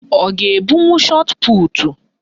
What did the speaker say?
Ọ ga-ebunwu shọtputu?